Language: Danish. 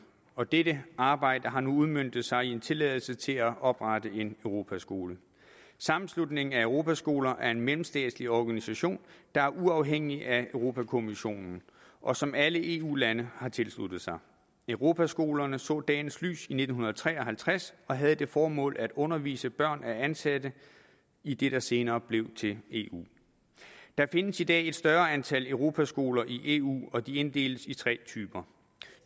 og dette arbejde har nu udmøntet sig i en tilladelse til at oprette en europaskole sammenslutningen af europaskoler er en mellemstatslig organisation der er uafhængig af europa kommissionen og som alle eu lande har tilsluttet sig europaskolerne så dagens lys i nitten tre og halvtreds og havde det formål at undervise børn af ansatte i det der senere blev til eu der findes i dag et større antal europaskoler i eu og de inddeles i tre typer